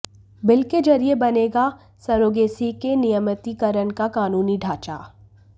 bill के जरिए बनेगा सरोगेसी के नियमितीकरण का कानूनी ढांचा